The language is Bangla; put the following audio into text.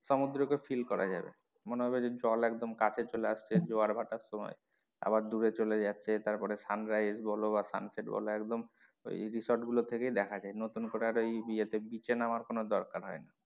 সমুদ্র কে feel করা যাবে মনে হবে যে জল একদম কাছে চলে আসছে জোয়ার ভাটার সময় আবার দূরে চলে যাচ্ছে তারপরে sunrise বলো বা sunset বলো একদম ওই resort গুলো থেকেই দেখা যায় নতুন করে আর ওই ইয়ে beach এ নামার কোনো দরকার হয় না।